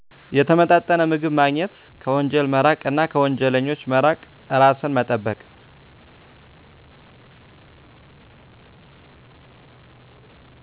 የተመጣጠነ ምግብ ማግኘት ከወንጀል መራቅ እና ከወንጀለኞች መራቅ እርሱን መጠበቅ